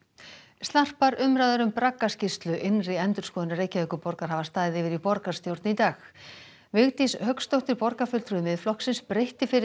snarpar umræður um innri endurskoðunar Reykjavíkurborgar hafa staðið yfir í borgarstjórn í dag Vigdís Hauksdóttir borgarfulltrúi Miðflokksins breytti fyrri